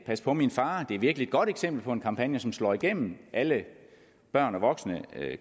pas på min far det er virkelig et godt eksempel på en kampagne som slår igennem alle børn og voksne